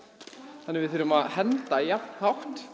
þannig að við þurfum að henda jafn hátt